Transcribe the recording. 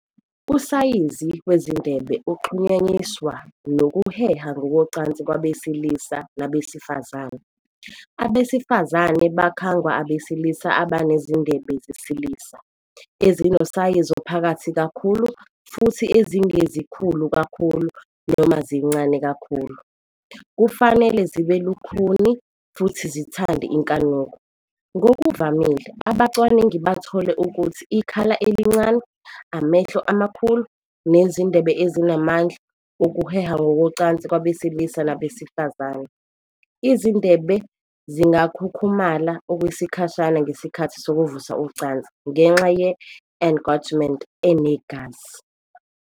Usayizi wezindebe uxhunyaniswa nokuheha ngokocansi kwabesilisa nabesifazane. Abesifazane bakhangwa abesilisa abanezindebe zesilisa, ezinosayizi ophakathi kakhulu futhi ezingezikhulu kakhulu noma zincane kakhulu, kufanele zibe lukhuni futhi zithande inkanuko. Ngokuvamile, abacwaningi bathole ukuthi ikhala elincane, amehlo amakhulu nezindebe ezinamandla okuheha ngokocansi kwabesilisa nabesifazane. Izindebe zingakhukhumala okwesikhashana ngesikhathi sokuvusa ucansi ngenxa ye-engorgement enegazi.